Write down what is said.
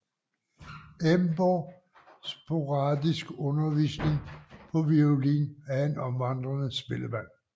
Emborg sporadisk undervisning på violin af en omvandrende spillemand